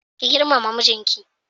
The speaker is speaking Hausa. Ki girmama mijinki.